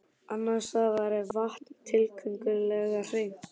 Annars staðar er vatnið tiltölulega hreint.